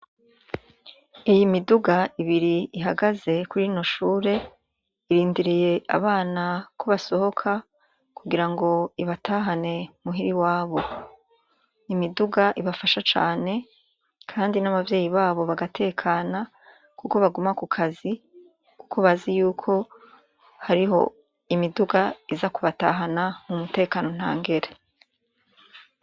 Iyi miduga ibiri ihagaze kuri rino shure irindiriye abana ko basohoka kugira ngo ibatahane muhira iwabo. N’imiduga ibafasha cane kandi n’abavyeyi babo bagatekana kuko baguma kukazi kuko bazi yuko hariyo imiduga iza kubatahana mu mutekano ntangere.